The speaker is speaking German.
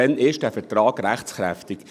Wann ist dieser Vertrag rechtskräftig?